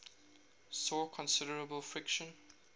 saw considerable friction